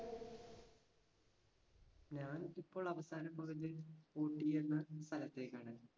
ഞാൻ ഇപ്പോൾ അവസാനം പോയത് ഊട്ടി എന്ന സ്ഥലത്തേക്കാണ്.